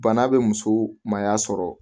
Bana be muso maaya sɔrɔ